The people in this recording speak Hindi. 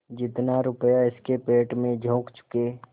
जितना रुपया इसके पेट में झोंक चुके